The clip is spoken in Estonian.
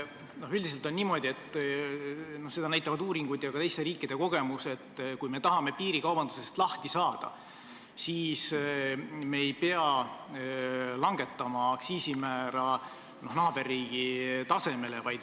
Üldiselt on niimoodi – seda näitavad uuringud ja ka teiste riikide kogemused –, et kui me tahame piirikaubandusest lahti saada, siis me ei pea langetama aktsiisimäärasid naaberriigi omade tasemele.